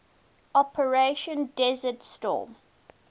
operation desert storm